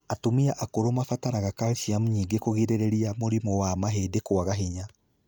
Atumĩa akũrũ mabataraga calcium nyingĩ kũgirĩrĩria mũrimũ wa mahĩndĩ kwaga hinya.